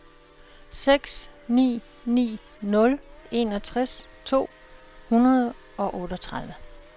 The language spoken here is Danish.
seks ni ni nul enogtres to hundrede og otteogtredive